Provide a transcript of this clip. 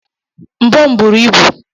Mbọ m buru ibu.